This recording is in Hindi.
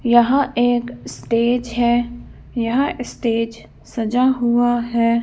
यहां एक स्टेज है। यहां स्टेज सजा हुआ है।